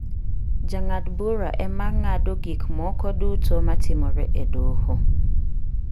Jang'ad bura ema ng'ado gik moko duto ma timore e doho.